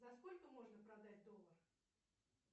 за сколько можно продать доллар